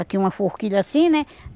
Aqui uma forquilha assim, né?